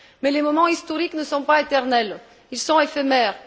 Mais les moments historiques ne sont pas éternels, ils sont éphémères.